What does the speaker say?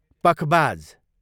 पखबाज